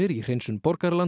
í hreinsun